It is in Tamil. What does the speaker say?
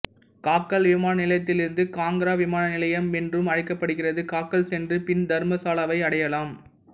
காக்கல் விமான நிலையத்திலிருந்து காங்கரா விமான நிலையம் என்றும் அழைக்கப்படுகிறது காக்கல் சென்று பின் தர்மசாலாவை அடையலாம்